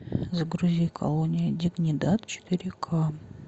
загрузи колония дигнидад четыре ка